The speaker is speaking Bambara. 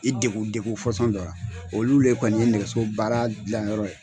I degu degu fasɔn dɔ ra olu le kɔni ye nɛgɛso baara gilayɔrɔ ye